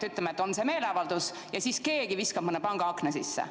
Ütleme, et sel meeleavaldusel viskab keegi mõne panga akna sisse.